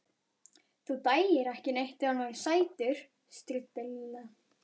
Þú dæir ekki neitt ef hann væri sætur. stríddi Lilla.